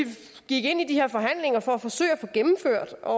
gik ind i de her forhandlinger for at forsøge at få gennemført og